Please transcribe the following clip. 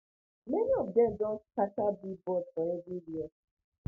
many of dem don scatter billboards for everywhere